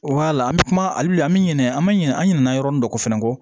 an bɛ kuma hali bi an bɛ ɲinɛ an bɛ ɲinɛ an ɲinɛ yɔrɔnin dɔ kɔ fana kɔ